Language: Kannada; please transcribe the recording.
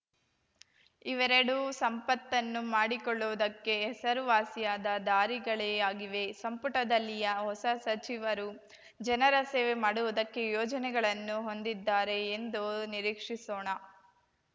ಇವೆರಡೂ ಸಂಪತ್ತನ್ನು ಮಾಡಿಕೊಳ್ಳುವುದಕ್ಕೆ ಹೆಸರುವಾಸಿಯಾದ ದಾರಿಗಳೇ ಆಗಿವೆ ಸಂಪುಟದಲ್ಲಿಯ ಹೊಸ ಸಚಿವರು ಜನರ ಸೇವೆ ಮಾಡುವುದಕ್ಕೆ ಯೋಜನೆಗಳನ್ನು ಹೊಂದಿದ್ದಾರೆ ಎಂದು ನಿರೀಕ್ಷಿಸೋಣ